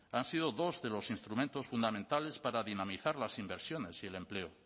han sido dos de los instrumentos fundamentales para dinamizar las inversiones y el empleo